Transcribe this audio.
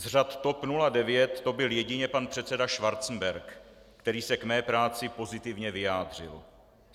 Z řad TOP 09 to byl jedině pan předseda Schwarzenberg, který se k mé práci pozitivně vyjádřil.